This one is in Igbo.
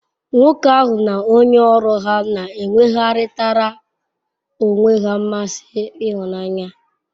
Nwoke ahu n'onye oru ha n'enwegharitara onwe he nmasi ihunanya